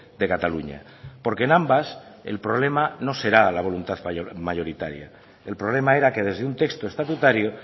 de cataluña porque en ambas el problema no será la voluntad mayoritaria el problema era que desde un texto estatutario